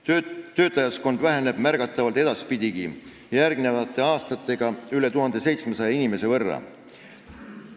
Töötajaskond väheneb edaspidigi märgatavalt, järgmistel aastatel üle 1700 inimese võrra.